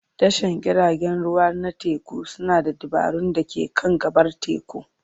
Tashar jiragen ruwa na teku suna da dabarun da ke kan gabar teku.